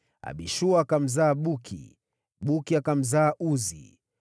Abishua akamzaa Buki, Buki akamzaa Uzi,